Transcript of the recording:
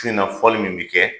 tu in fɔli min bi kɛ